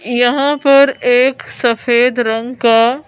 यहां पर एक सफेद रंग का--